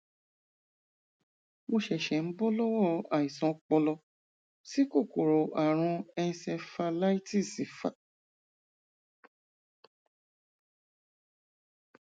mo ṣẹṣẹ ń bọ lọwọ àìsàn ọpọlọ tí kòkòrò àrùn encephalitis fà